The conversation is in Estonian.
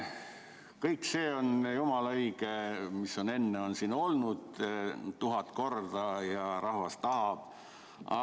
Kõik see on jumala õige, mis siin tuhat korda öeldud on: rahvas tahab seda.